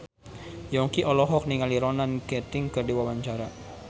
Yongki olohok ningali Ronan Keating keur diwawancara